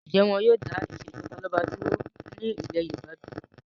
Ǹjẹ́ wọn yìí ó dà ìsèjọba lọ́balọ́ba dúró ní ilé Yorùbá bí?